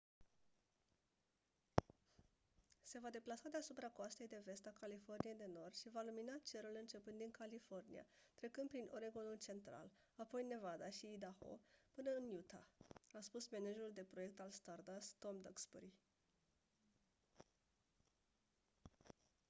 se va deplasa deasupra coastei de vest a californiei de nord și va lumina cerul începând din california trecând prin oregon-ul central apoi nevada și idaho până în utah a spus managerul de proiect al stardust tom duxbury